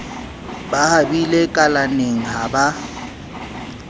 ba habile kalaneng ha ba